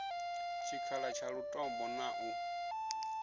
tshikhala tsha lutombo na u